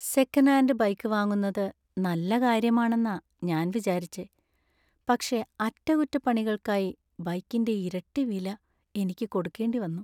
Second hand bike വാങ്ങുന്നത് നല്ല കാര്യമാണെന്ന ഞാൻ വിചാരിച്ചെ , പക്ഷേ അറ്റകുറ്റപ്പണികൾക്കായി ബൈക്കിന്‍റെ ഇരട്ടി വില എനിക്ക് കൊടുക്കേണ്ടി വന്നു .